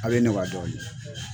A bɛ ye ne b'a dɔn ne.